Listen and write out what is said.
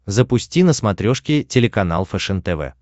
запусти на смотрешке телеканал фэшен тв